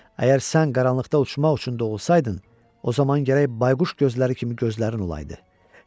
Əgər sən qaranlıqda uçmaq üçün doğulsaydın, o zaman gərək bayquş gözləri kimi gözlərin olaydı.